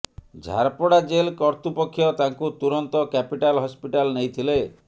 Jharpada jail କର୍ତୃପକ୍ଷ ତାଙ୍କୁ ତୁରନ୍ତ କ୍ୟାପିଟାଲ ହସ୍ପିଟାଲ ନେଇଥିଲେ